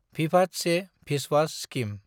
भिभाद से भिस्वास स्किम